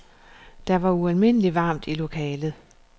Der var ualmindeligt varmt i lokalet.